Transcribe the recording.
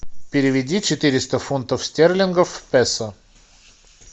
переведи четыреста фунтов стерлингов в песо